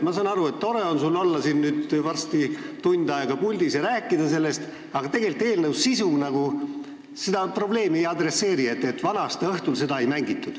Ma saan aru, et sul on tore siin varsti tund aega puldis olla ja sellest rääkida, aga eelnõu sisu ei adresseeri ju seda probleemi, et vana-aastaõhtul hümni ei mängitud.